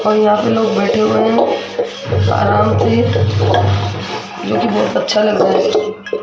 और यहां पे लोग बैठे हुए हैं आराम से जो कि बहुत अच्छा लग रहा है।